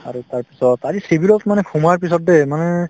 আৰু তাৰপিছত আজি civil ত মানে সোমোৱাৰ পিছত দেই মানে